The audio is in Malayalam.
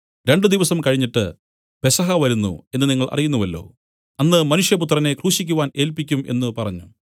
രണ്ടു ദിവസം കഴിഞ്ഞിട്ട് പെസഹ വരുന്നു എന്നു നിങ്ങൾ അറിയുന്നുവല്ലോ അന്ന് മനുഷ്യപുത്രനെ ക്രൂശിക്കുവാൻ ഏല്പിക്കും എന്നു പറഞ്ഞു